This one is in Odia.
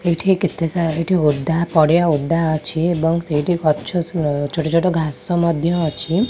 ଏଇଠି କେତେ ସା ଏଇଠି ଓଦା ପଡ଼ିଆ ଓଦା ଅଛି ଏବଂ ସେଇଠି ଗଛ ଛୋଟ ଛୋଟ ଘାସ ମଧ୍ୟ ଅଛି।